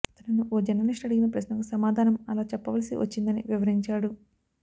తనను ఓ జర్నలిస్ట్ అడిగిన ప్రశ్నకు సమాధానం అలా చెప్పవలసి వచ్చిందని వివరించాడు